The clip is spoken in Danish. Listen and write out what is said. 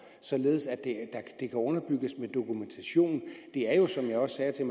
således at underbygges med dokumentation det er jo som jeg også sagde til